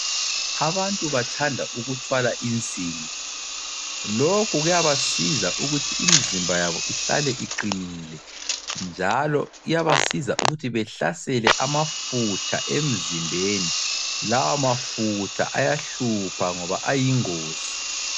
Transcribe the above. Abantu bathanda ukuthwala insimbi lokhu kuyabasiza ukuthi imzimba yabo ihlale iqinile njalo iyabasiza ukuthi behlasele amafutha emzimbeni lawa mafutha ayahlupha ngoba ayingozi.